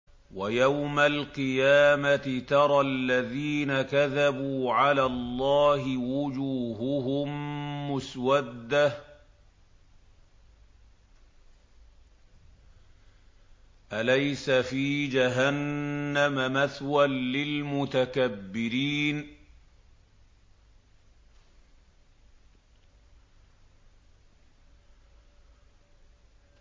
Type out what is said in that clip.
وَيَوْمَ الْقِيَامَةِ تَرَى الَّذِينَ كَذَبُوا عَلَى اللَّهِ وُجُوهُهُم مُّسْوَدَّةٌ ۚ أَلَيْسَ فِي جَهَنَّمَ مَثْوًى لِّلْمُتَكَبِّرِينَ